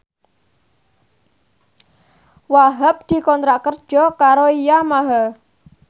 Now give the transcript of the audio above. Wahhab dikontrak kerja karo Yamaha